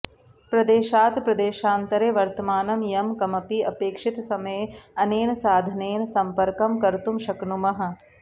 प्रदेशात् प्रदेशान्तरे वर्तमानं यं कमपि अपेक्षितसमये अनेन साधनेन संपर्कं कर्तुं शक्नुमः